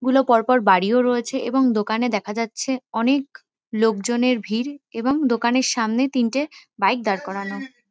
গুলো পর পর বাড়িও রয়েছে এবং দোকানে দেখা যাচ্ছে অনেক লোকজনের ভিড় এবং দোকানের সামনে তিনটে বাইক দাঁড় করানো।